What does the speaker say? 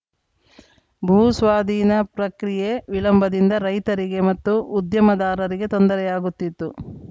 ಭೂಸ್ವಾಧೀನ ಪ್ರಕ್ರಿಯೆ ವಿಳಂಬದಿಂದ ರೈತರಿಗೆ ಮತ್ತು ಉದ್ಯಮದಾರರಿಗೆ ತೊಂದರೆಯಾಗುತ್ತಿತ್ತು